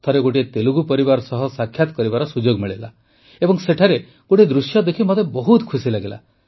ଥରେ ଗୋଟିଏ ତେଲୁଗୁ ପରିବାର ସହ ସାକ୍ଷାତ କରିବାର ସୁଯୋଗ ମିଳିଲା ଏବଂ ସେଠାରେ ଗୋଟିଏ ଦୃଶ୍ୟ ଦେଖି ମୋତେ ବହୁତ ଖୁସି ଲାଗିଲା